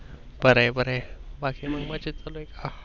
बर आहे बर आहे बाकी